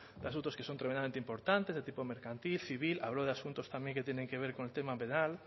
de asuntos que son tremendamente importantes de tipo mercantil civil hablo de asuntos también que tienen que ver con el tema penal